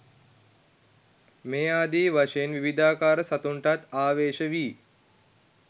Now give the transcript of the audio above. මේ ආදී වශයෙන් විවිධාකාර සතුන්ටත් ආවේශ වී